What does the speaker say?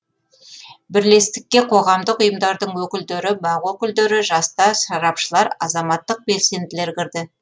бірлестікке қоғамдық ұйымдардың өкілдері бақ өкілдері жастар сарапшылар азаматтық белсенділер кірді